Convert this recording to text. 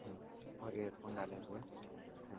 Who व earphone डाले हुए हैं।